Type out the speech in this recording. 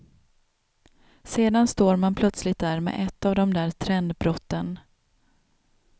Sedan står man plötsligt där med ett av de där trendbrotten.